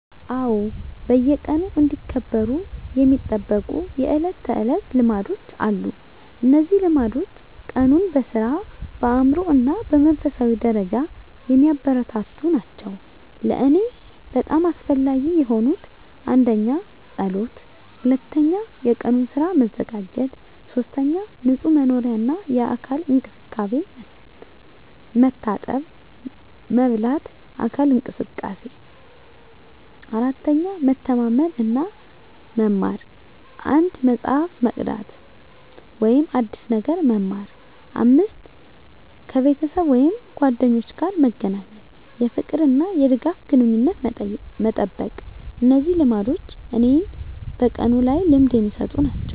አዎ፣ በየቀኑ እንዲከበሩ የሚጠበቁ የዕለት ተዕለት ልማዶች አሉ። እነዚህ ልማዶች ቀኑን በሥራ፣ በአእምሮ እና በመንፈሳዊ ደረጃ የሚያበረታቱ ናቸው። ለእኔ በጣም አስፈላጊ የሆኑት: 1. ጸሎት 2. የቀኑን ሥራ መዘጋጀት 3. ንጹህ መኖሪያ እና የአካል እንክብካቤ፣ መታጠብ፣ መበላት፣ አካል እንቅስቃሴ። 4. መተማመን እና መማር፣ አንድ መጽሐፍ መቅዳት ወይም አዲስ ነገር መማር። 5. ከቤተሰብ ወይም ጓደኞች ጋር መገናኘት፣ የፍቅር እና የድጋፍ ግንኙነትን መጠበቅ። እነዚህ ልማዶች እኔን በቀኑ ላይ ልምድ የሚሰጡ ናቸው።